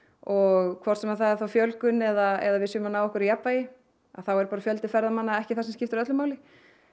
og hvort sem það er þá fjölgun eða að við séum að ná jafnvægi þá er fjöldi ferðamanna ekki það sem skiptir öllu máli